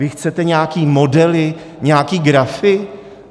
Vy chcete nějaké modely, nějaké grafy?